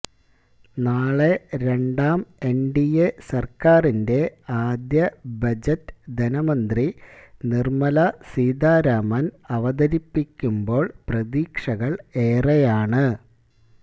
നാളെ രണ്ടാം എന്ഡിഎ സര്ക്കാരിന്റെ ആദ്യ ബജറ്റ് ധനമന്ത്രി നിര്മല സീതാരാമന് അവതരിപ്പിക്കുമ്പോള് പ്രതീക്ഷകള് ഏറെയാണ്